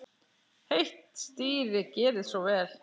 Heitt stýri, gerið svo vel.